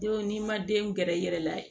Denw n'i ma denw gɛrɛ i yɛrɛ la